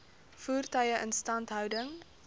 voertuie instandhouding